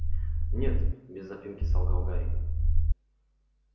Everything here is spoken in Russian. нет без запинки солгал гарри